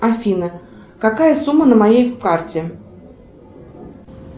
афина какая сумма на моей карте